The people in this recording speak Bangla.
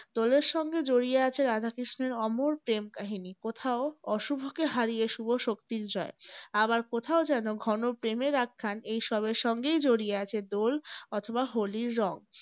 দোলের সঙ্গে জড়িয়ে আছে রাধা কৃষ্ণের অমর প্রেম কাহিনী। কোথাও অশুভকে হারিয়ে শুভ শক্তির জয়। আবার কোথাও যেন ঘন প্রেমের আখ্যান । এই সবের সঙ্গেই জড়িয়ে আছে দোল অথবা হোলির রং।